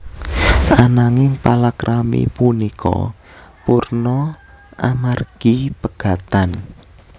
Ananging palakrami punika purna amargi pegatan